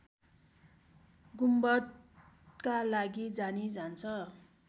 गुम्बदका लागि जानी जान्छ